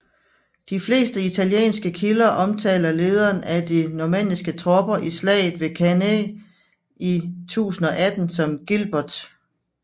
De fleste italienske kilder omtaler lederen af de normanniske tropper i slaget ved Cannae i 1018 som Gilbert